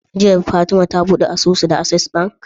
Jiya fatima ta buɗe asusu da acces bank?